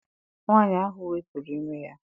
Nwaanyị ahụ wepụrụ ime ya.